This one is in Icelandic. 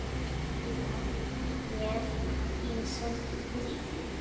Síðar með ýmsum liðum.